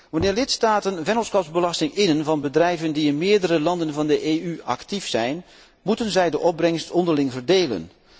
Wanneer lidstaten vennootschapsbelasting innen van bedrijven die in meerdere landen van de EU actief zijn, moeten zij de opbrengst onderling verdelen.